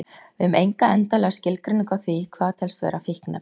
Við höfum enga endanlega skilgreiningu á því hvað telst vera fíkniefni.